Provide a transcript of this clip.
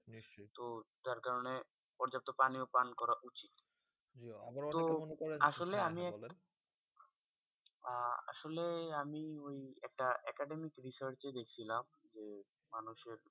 তো তার কারনে পর্যাপ্ত পানিও পান করা উচিৎ। তো আসলে আমি একটা আহ আসলে আমি ওই একটা academic research এ দেখছিলাম মানুষের যে,